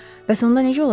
Bəs onda necə olacaq?